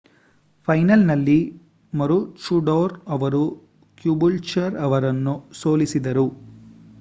ಫೈನಲ್‌ನಲ್ಲಿ ಮರೂಚೈಡೋರ್ ಅವರು ಕ್ಯಾಬೂಲ್ಚರ್ ಅವರನ್ನು ಸೋಲಿಸಿದರು